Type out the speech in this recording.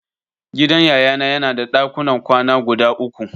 Gidan Yayana yana da dakunan kwana guda uku.